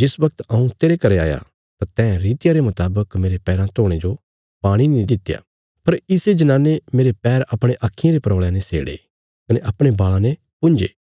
जिस बगत हऊँ तेरे घरें आया तां तैं रितिया रे मुतावक मेरे पैराँ धोणे जो पाणी नीं दित्या पर इसे जनाने मेरे पैर अपणे आक्खीं रे परौल़यां ने सेड़े कने अपणे बाल़ां ने पुंझे